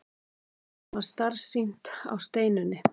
Honum varð starsýnt á Steinunni.